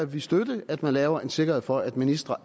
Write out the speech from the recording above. vi støtte at man laver en sikkerhed for at ministre